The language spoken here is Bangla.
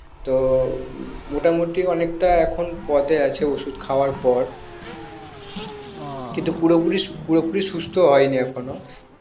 তো মোটামোটি এখন খানিকটা পদে আছে ওষুধ খাবার পর কিন্তু পুরোপুরি পুরোপুরি সুস্থ হয়নি এখনো